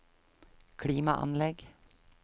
klimaanlegg